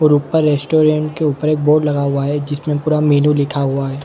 ऊपर रेस्टुरेंट के ऊपर एक बोर्ड लगा हुआ है जिसमे पूरा मेनू लिखा हुआ है।